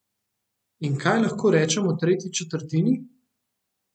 In kaj lahko rečem o tretji četrtini?